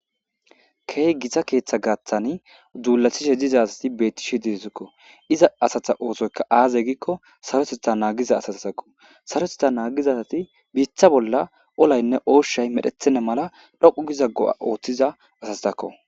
Kehi gita ketha gathani dulatishe diza asati beteshe Deziko. Iza assata osoyika aze giko sarotetha nagida aseko. Sarotetha nagida asati bitta bolla olati oshayi medhetena mela dhoqu go'a othiza asako.